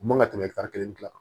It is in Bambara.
U man ka tɛmɛ ɛtari kelen kan